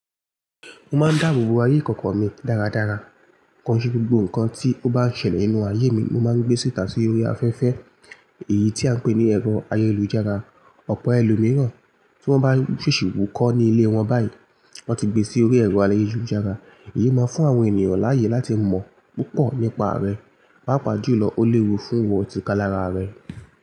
Mo máa ń dáàbò bo ayé ìkọ̀kọ̀ mi dáradára. Kò n ṣe gbogbo nǹkan tí ó bá ń ṣẹlẹ̀ nínú ayé mi, ni mo máa ń gbé síta sí orí afẹ́fẹ́ èyí tí à ń pè ní ẹ̀rọ ayélujára. Ọ̀pọ̀ ẹlòmíràn tí wọ́n bá ṣèṣì wù kọ́ ní ilé wọn báyìí, wọ́n ti gbe sí orí ẹ̀rọ ayélujára. Èyí máa fún àwọn ènìyàn láàyè láti mọ̀ púpọ̀ nípa rẹ, pàápàá jùlọ ó léwu fún ìwọ tìka lára rẹ.